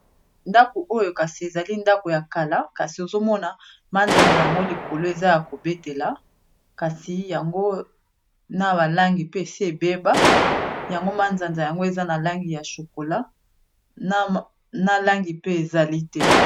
ndako oyo kasi ezali ndako ya kala kasi ozomona manzanza yango likolo eza ya kobetela kasi yango na balangi pe se ebeba yango manzanza yango eza na langi ya chokola na langi pe ezali te